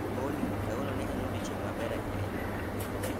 Olly, kawuono ne en odiechieng' maber ahinya e ngimana